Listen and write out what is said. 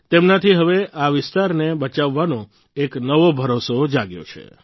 તેમનાથી હવે આ વિસ્તારને બચાવવાનો એક નવો ભરોસો જાગ્યો છે